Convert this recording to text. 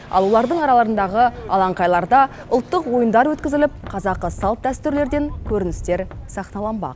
ал олардың араларындағы алаңқайларда ұлттық ойындар өткізіліп қазақы салт дәстүрлерден көріністер сахналанбақ